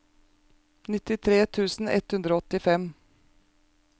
nittitre tusen ett hundre og åttifem